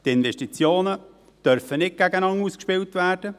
Die Investitionen dürfen nicht gegeneinander ausgespielt werden.